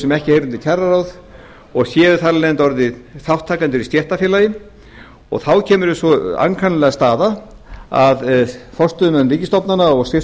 sem ekki heyra undir kjararáð og séu þar af leiðandi orðnir þátttakendur í stéttarfélagi og á kemur upp sú ankannalega staða að forstöðumenn ríkisstofnana og